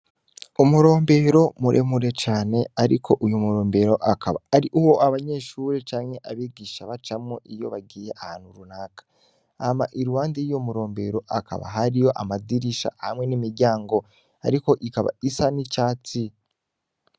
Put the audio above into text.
Umurombero muremure cane ariko uyu murombero akaba aruwo abanyeshuri canke abigisha bacamwo iyo bagiye ahantu runaka hama iruhande yuwo murombero hakaba hariyo amadirisha hamwe n'imiryango ariko ikaba isa n'icatsi.